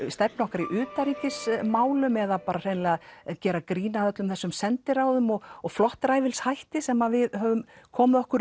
stefnu okkar í utanríkismálum eða hreinlega gera grín að öllum þessum sendiráðum og og flottræfilshætti sem við höfum komið okkur